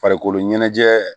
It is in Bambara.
Farikolo ɲɛnajɛ